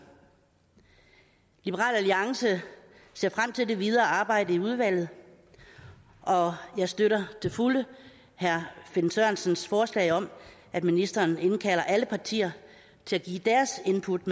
liberal alliance ser frem til det videre arbejde i udvalget og jeg støtter til fulde herre finn sørensens forslag om at ministeren indkalder alle partier til at give deres input